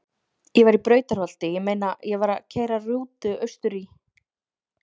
Ég var í Brautarholti- ég meina ég var að keyra rútu austur í